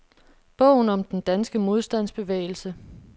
Bogen om den danske modstandsbevægelse.